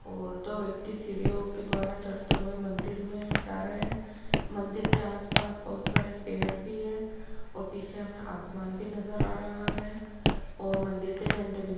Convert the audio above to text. और दो व्यक्ति सीढियों के द्वारा चढ़ते हुए मंदिर में जा रहे हैं। मंदिर के आसपास बहोत सारे पेड़ भी हैं पीछे हमें आसमान भी नजर आ रहा है। मंदिर के झंडे भी --